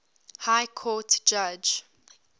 high court judge